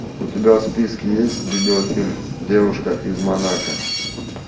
у тебя в списке есть видеофильм девушка из монако